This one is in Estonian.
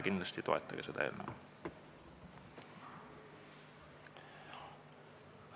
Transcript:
Kindlasti toetage seda eelnõu!